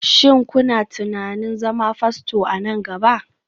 Shin kuna tunanin zama Fasto a nan gaba?